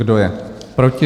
Kdo je proti?